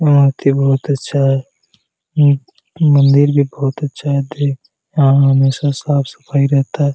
मूर्ति बहुत अच्छा है उ मंदिर भी बहुत अच्छा है देख यहाॅं हमेशा साफ-सफाई रहता है।